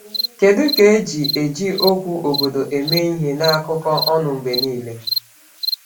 Kedu ka e ji eji okwu “obodo” eme ihe n’akụkọ ọnụ mgbe niile?